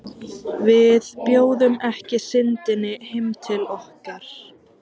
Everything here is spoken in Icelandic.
Og við bjóðum ekki Syndinni heim til okkar.